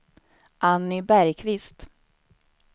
Anny Bergqvist